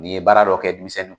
N'i ye baara dɔ kɛ denmisɛnninw